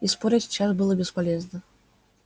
и спорить сейчас было бесполезно